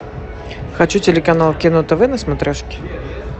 хочу телеканал кино тв на смотрешке